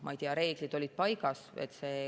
Ma ei tea, reeglid olid paigas.